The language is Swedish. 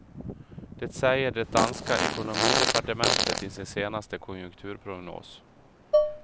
Det säger det danska ekonomidepartementet i sin senaste konjunkturprognos.